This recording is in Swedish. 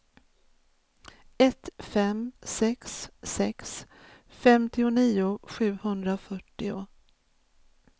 ett fem sex sex femtionio sjuhundrafyrtio